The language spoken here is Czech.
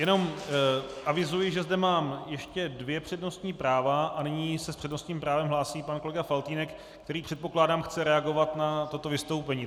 Jenom avizuji, že zde mám ještě dvě přednostní práva a nyní se s přednostním právem hlásí pan kolega Faltýnek, který, předpokládám, chce reagovat na toto vystoupení.